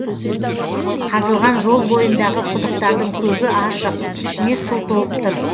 қазылған жол бойындағы құдықтардың көбі ашық ішіне су толып тұр